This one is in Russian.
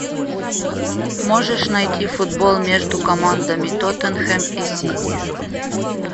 можешь найти футбол между командами тоттенхэм и сити